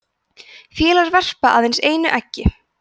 fýlar verpa aðeins einu eggi